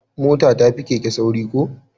Mota ta fi keke sauri ko?